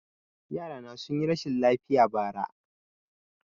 Yarana sun yi rashin lafiya bara